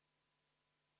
V a h e a e g